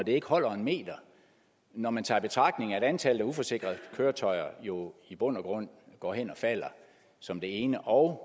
ikke holder en meter når man tager i betragtning at antallet af uforsikrede køretøjer jo i bund og grund går hen og falder som det ene og